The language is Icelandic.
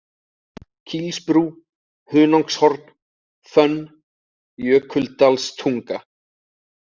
Kílsbrú, Hunangshorn, Fönn, Jökuldalstunga